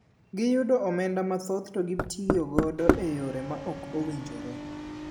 Giyudo omenda mathoth to gitiyo godo e yore ma ok owinjore